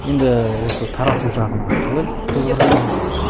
енді осы тарату жағына қалай көзқарастарың қалай